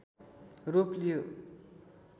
रूप लियो